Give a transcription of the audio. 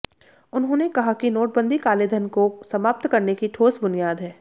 उन्होंने कहा कि नोटबंदी कालेधन को समाप्त करने की ठोस बुनियाद है